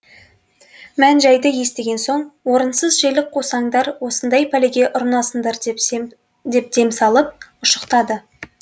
мән жайды естіген соң орынсыз желік қусаңдар осындай пәлеге ұрынасыңдар деп дем салып ұшықтады